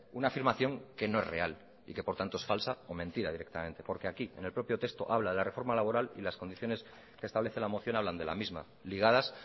una afirmación que no es real y que por tanto es falsa o mentira directamente porque aquí en el propio texto habla de la reforma laboral y las condiciones que establece la moción hablan de la misma ligadas